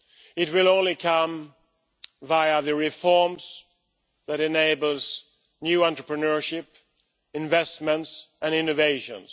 it will only come via the reforms that enable new entrepreneurship, investments and innovations.